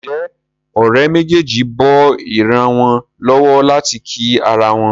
Nje Òré méjèjì bó ira wón lówó láti kí àrà wón?